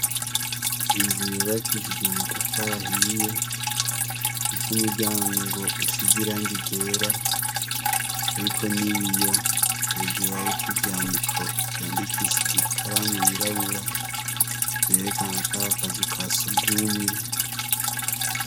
Inzu yubakishije amatafara ahiye iko umuryango ngo usize iranga igera, ariko ni be iyo hejure, ariko ivyandiko yandikishije ikaramu yirabura zerekana akarakazi uka siugumwe.